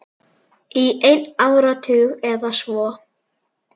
Í einn áratug eða svo.